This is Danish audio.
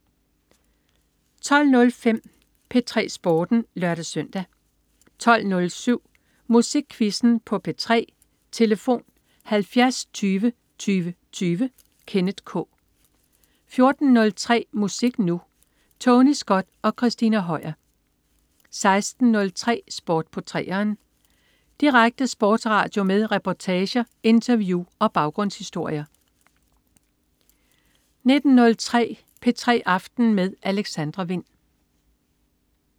12.05 P3 Sporten (lør-søn) 12.07 Musikquizzen på P3. Tlf. 70 20 20 20. Kenneth K 14.03 Musik Nu! Tony Scott og Christina Høier 16.03 Sport på 3'eren. Direkte sportsradio med reportager, interview og baggrundshistorier 19.03 P3 aften med Alexandra Wind